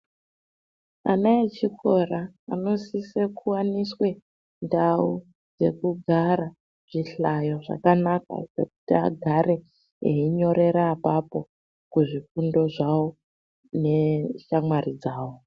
Ana echikora anosisa kuwaniswe ndau yekugara zvihlayo zvakanaka zvekuti agara eyinyorera apapo kuzvifundo zvavo neshamwari dzavavo.